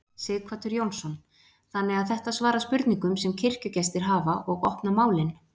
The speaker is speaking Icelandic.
Sighvatur Jónsson: Þannig að þetta svara spurningum sem kirkjugestir hafa og opna málin?